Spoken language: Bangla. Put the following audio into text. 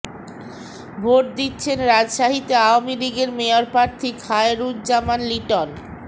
ভোট দিচ্ছেন রাজশাহীতে আওয়ামী লীগের মেয়র প্রার্থী খায়রুজ্জামান লিটন